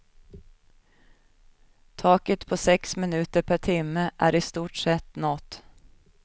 Taket på sex minuter per timme är i stort sett nått.